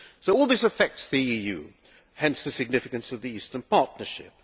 All this affects the EU hence the significance of the Eastern Partnership.